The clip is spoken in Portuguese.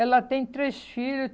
Ela tem três filhos.